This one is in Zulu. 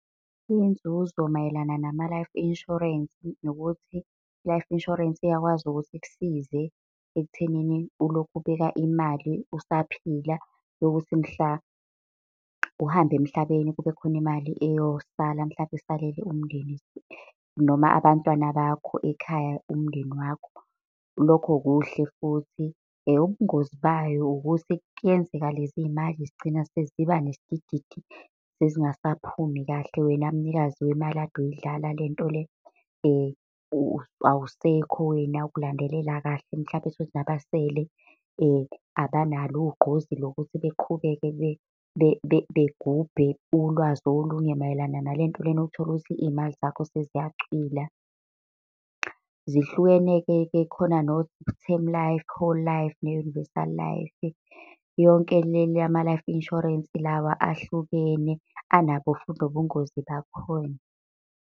Inzuzo mayelana nama-life insurance, nokuthi i-life insurance iyakwazi ukuthi ikusize ekuthenini ulokhu ubeka imali usaphila yokuthi mhla uhamba emhlabeni, kube khona imali eyosala mhlampe. isalele umndeni noma abantwana bakho ekhaya umndeni wakho. Lokho kuhle futhi ubungozi bayo ukuthi kuyenzeka lezi mali zigcine seziba nesidididi sezingasaphumi kahle. Wena mnikazi wemali kade uyidlala lento awusekho wena ukulandelela kahle, mhlampe uthole ukuthi nabasele abanalo ugqozi lokuthi beqhubeke. begubhe ulwazi olunye mayelana nalento lena. Utholukuthi iy'mali zakho seziyacwila. Zihlukene-ke khona no-term life, whole life ne-universal life. Yonke le lama life insurance lawa ahlukene anabo futhi nobungozi bakhona.